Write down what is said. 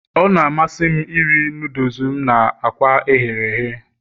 Ọ na-amasị m iri noodles m na akwa ehere ehe